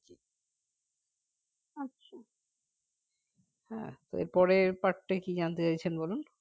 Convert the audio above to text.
আহ এরপরের part টা কি জানতে চাইছেন বলুন